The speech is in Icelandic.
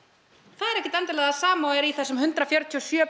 það er ekkert endilega það sama og er í þessum hundrað fjörutíu og sjö